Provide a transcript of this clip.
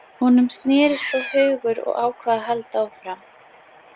Honum snérist þó hugur og ákvað að halda áfram.